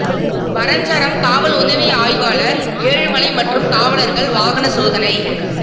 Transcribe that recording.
வரஞ்சரம் காவல் உதவி ஆய்வாளர் ஏழுமலை மற்றும் காவலர்கள் வாகன சோதனை